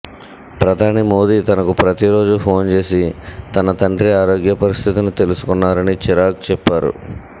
ప్రధాని మోదీ తనకు ప్రతిరోజూ ఫోన్ చేసి తన తండ్రి ఆరోగ్య పరిస్థితిని తెలుసుకున్నారని చిరాగ్ చెప్పారు